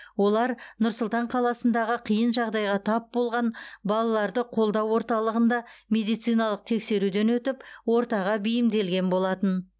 олар нұр сұлтан қаласындағы қиын жағдайға тап болған балаларды қолдау орталығында медициналық тексеруден өтіп ортаға бейімделген болатын